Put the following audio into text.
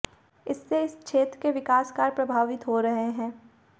इससे इस क्षेत्र के विकास कार्य प्रभावित हो रहे हैं